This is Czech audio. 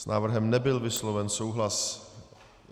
S návrhem nebyl vysloven souhlas.